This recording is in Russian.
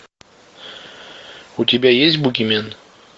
у тебя есть бугимен